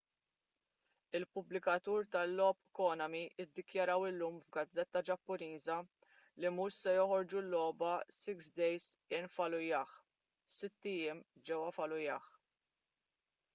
il-pubblikatur tal-logħob konami ddikjaraw illum f’gazzetta ġappuniża li mhux se joħorġu l-logħba six days in fallujah” sitt ijiem ġewwa fallujah”